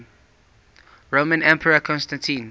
roman emperor constantine